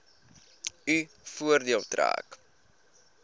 u voordeel trek